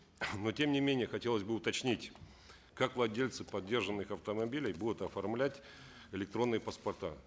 но тем не менее хотелось бы уточнить как владельцы подержанных автомобилей будут оформлять электронные паспорта